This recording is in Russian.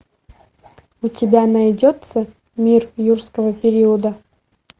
у тебя найдется мир юрского периода